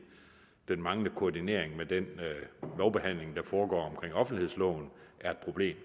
den manglende koordinering med den lovbehandling der foregår omkring offentlighedsloven er et problem